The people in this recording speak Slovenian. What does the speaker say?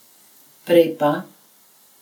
Prej pa...